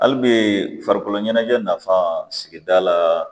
Hali bi farikolo ɲɛnajɛ nafan sigida la